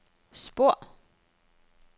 spor